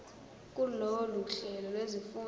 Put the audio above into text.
kulolu hlelo lwezifundo